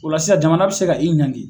O la sisan, jamana bɛ se ka i ɲanki.